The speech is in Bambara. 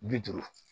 Bi duuru